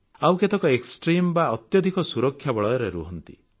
ଆଉ କେତେକ ଏକ୍ସଟ୍ରିମ୍ ବା ଅତ୍ୟଧିକ ସୁରକ୍ଷା ବଳୟରେ ରୁହନ୍ତି